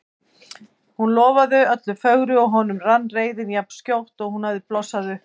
Hún lofaði öllu fögru og honum rann reiðin jafn skjótt og hún hafði blossað upp.